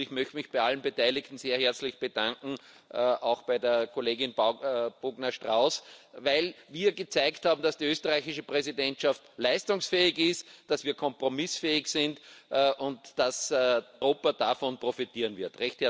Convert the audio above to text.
Ich möchte mich bei allen Beteiligten sehr herzlich bedanken, auch bei der Kollegin Bogner Strauß, weil wir gezeigt haben, dass die österreichische Präsidentschaft leistungsfähig ist, dass wir kompromissfähig sind und dass Europa davon profitieren wird.